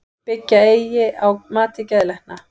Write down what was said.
Byggja eigi á mati geðlækna